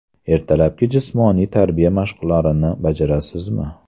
Ertalabki jismoniy tarbiya mashqlarini bajarasizmi?